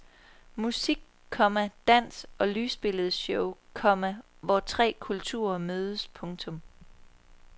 Musik, komma dans og lysbilledeshow, komma hvor tre kulturer mødes. punktum